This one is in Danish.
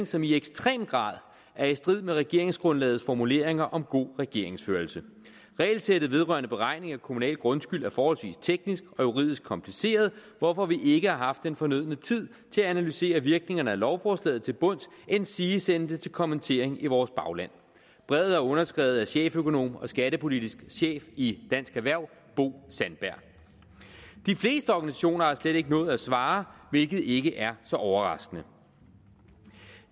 som i ekstrem grad er i strid med regeringsgrundlagets formuleringer om god regeringsførelse regelsættet vedrørende beregning af kommunal grundskyld er forholdsvis teknisk og juridisk kompliceret hvorfor vi ikke har haft den fornødne tid til at analysere virkningerne af lovforslaget til bunds endsige sende det til kommentering i vores bagland brevet er underskrevet af cheføkonom og skattepolitisk chef i dansk erhverv bo sandberg de fleste organisationer har slet ikke nået at svare hvilket ikke er så overraskende